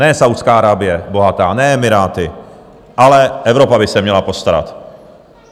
Ne Saúdská Arábie bohatá, ne Emiráty, ale Evropa by se měla postarat.